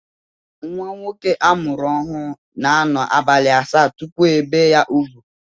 Nwa nwoke a mụrụ ọhụụ na-anọ abalị asaa tupu ebee ya úgwù